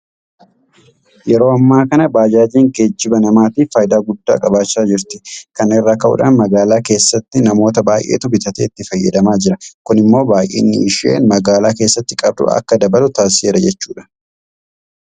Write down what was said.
Yeroo ammaa kana baajaajiin geejiba namaatiif faayidaa guddaa qabaachaa jirti. Kana irraa ka'uudhaan magaalaa keessattu namoota baay'eetu bitatee itti fayyadamaa jira. Kun immoo baay'inni isheen magaalaa keessatti qabdu akka dabalu taasiseera jechuudha.